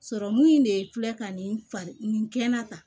Sɔrɔmu in de filɛ ka nin nin kɛnɛ kan